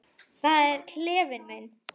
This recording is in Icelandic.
Það er klefinn minn.